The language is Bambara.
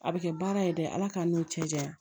A bɛ kɛ baara ye dɛ ala k'an n'u cɛ janya